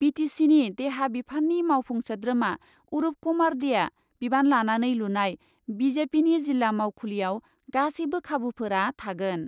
बि T सिनि देहा बिफाननि मावफुं सोद्रोमा अरुप कुमार देआ बिबान लानानै लुनाय बि जे पिनि जिल्ला मावखुलियाव गासैबो खाबुफोरा थागोन।